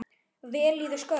vel í þau skörð?